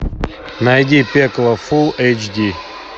найди пекло фулл эйч ди